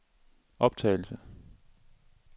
optagelse